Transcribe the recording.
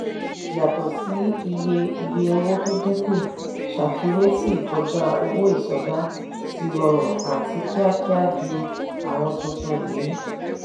yàtọ̀ sí iye iye owó tó dínkù ṣàfiwé sì ìkọjá owó ìsọdá ti rọ̀rùn àti kíákíá ju àwọn tuntun yìí.